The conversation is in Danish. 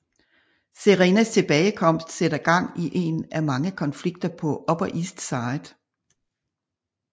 Serenas tilbagekomst sætter gang i en af mange konflikter på Upper East Side